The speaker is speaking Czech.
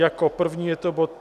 Jako první je to bod